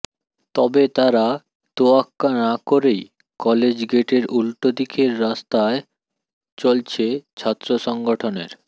তবে তার তোয়াক্কা না করেই কলেজ গেটের উল্টো দিকের রাস্তায় চলছে ছাত্র সংগঠনের